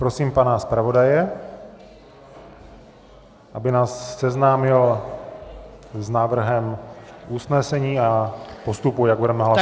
Prosím, pana zpravodaje, aby nás seznámil s návrhem usnesení a postupu, jak budeme hlasovat.